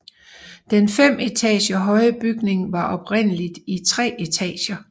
Den fem etager høje bygning var oprindeligt i tre etager